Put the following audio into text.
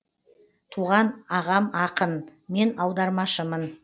туған ағам ақын мен аудармашымын